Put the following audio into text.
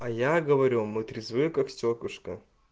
а я говорю мы трезвы как стёклышко